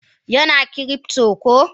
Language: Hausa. Yana cryptor ko?